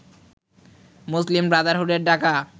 মুসলিম ব্রাদারহুডের ডাকা